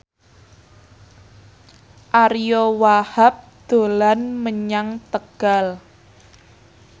Ariyo Wahab dolan menyang Tegal